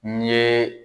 N ye